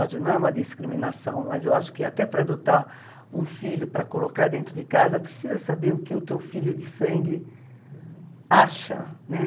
Ódio não é uma discriminação, mas eu acho que até para adotar um filho, para colocar dentro de casa, precisa saber o que o teu filho de sangue acha, né?